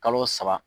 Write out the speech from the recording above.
Kalo saba